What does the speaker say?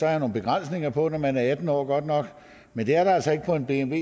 er nogle begrænsninger på når man er atten år men det er der altså ikke på en